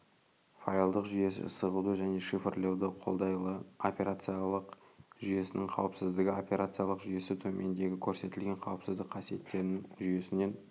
файлдық жүйесі сығуды және шифрлеуді қолдайлы операциялық жүйесінің қауіпсіздігі операциялық жүйесі төмендегі көрсетілген қауіпсіздік қасиеттерін жүйесінен